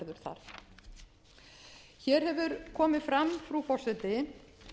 þar hér hefur komið fram frú forseti